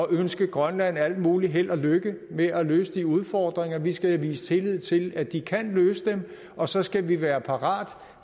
ønske grønlands alt muligt held og lykke med at løse de udfordringer vi skal vise tillid til at de kan løse dem og så skal vi være parate